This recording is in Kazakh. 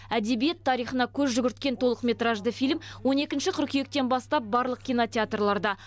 әдебиет тарихына көз жүгірткен толықметражды фильм он екінші қыркүйектен бастап барлық кинотеатрларда